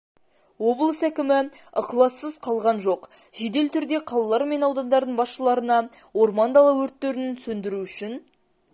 облыс әкімі ықылассыз қалған жоқ жедел түрде қалалар мен аудандардың басшыларына орман-дала өрттерін сөндіру үшін